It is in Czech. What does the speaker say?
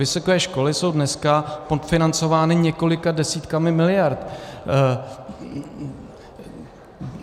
Vysoké školy jsou dneska podfinancovány několika desítkami miliard.